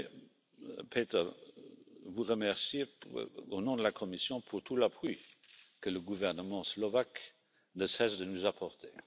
Je voulais, Peter, vous remercier, au nom de la Commission, pour tout l'appui que le gouvernement slovaque ne cesse de nous apporter.